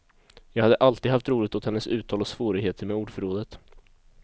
Jag hade alltid haft roligt åt hennes uttal och svårigheter med ordförrådet.